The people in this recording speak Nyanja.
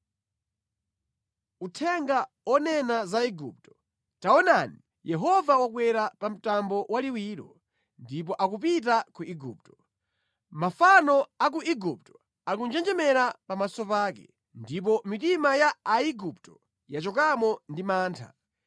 Uthenga onena za Igupto: Taonani, Yehova wakwera pa mtambo waliwiro, ndipo akupita ku Igupto. Mafano a ku Igupto akunjenjemera pamaso pake, ndipo mitima ya Aigupto yachokamo ndi mantha.